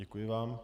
Děkuji vám.